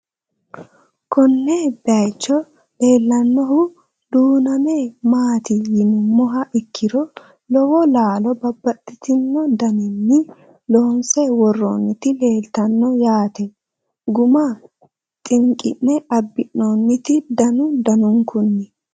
Konne bayiichcho leellanohu duunnamme maatti yinummoha ikkiro lowo laallo babaxxittinno daniinni loonsse woroonnitti leelittanno yaatte gumma xinqinne abbinnoonnitti danu danunkunni